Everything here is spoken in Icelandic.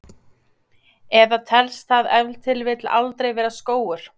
Eða telst það ef til vill aldrei vera skógur?